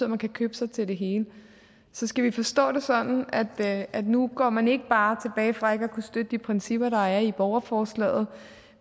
man kan købe sig til det hele så skal vi forstå det sådan at at nu går man ikke bare tilbage fra ikke at kunne støtte de principper der er i borgerforslaget